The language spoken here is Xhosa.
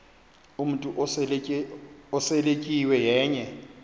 umntu oseletyiwe yenye